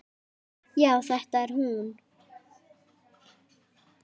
Já, þetta er hún.